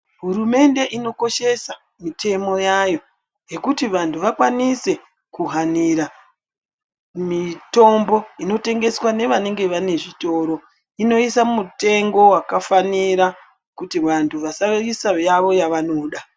Hurumende ino koshesa mitemo yayo yekuti vantu vakwanise ku hanira mitombo inotengeswa ne vanenge vane zvitoro inoisa mitengo yaka fanira kuti vantu vasaisa yavo yava noda.